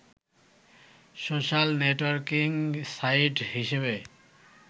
social networking site হিসেবে